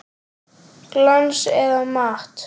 Glans eða matt?